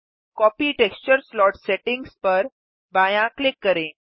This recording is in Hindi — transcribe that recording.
कॉपी टेक्सचर स्लॉट सेटिंग्स पर बायाँ क्लिक करें